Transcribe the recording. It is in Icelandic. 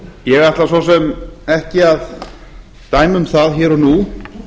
ég ætla svo sem ekki að dæma um það hér og nú